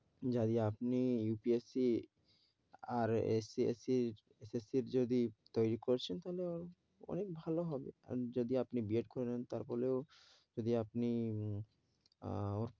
আপনি UPSC আর SSC র যদি তৈরী করছেন তাহলে অনেক ভালো হবে, আর যদি আপনী বি এড করে নেন তার পরেও যদি আপনি আহ